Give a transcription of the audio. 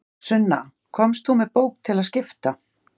Sunna, komst þú með bók til að skipta?